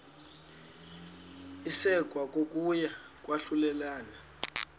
isekwa kokuya kwahlulelana